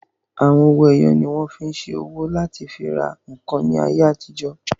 Àwọn owó ẹyọ ni wọ́n fí n ṣe owó láti fi ra ǹkan ní ayé àtijọ́